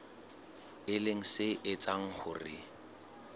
e leng se etsang hore